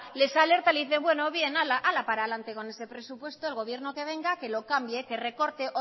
les alertan les dicen bueno bien hala hala para adelante con ese presupuesto el gobierno que venga que lo cambie que recorte